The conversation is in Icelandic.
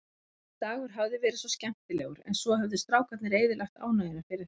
Þessi dagur hafði verið svo skemmtilegur, en svo höfðu strákarnir eyðilagt ánægjuna fyrir þeim.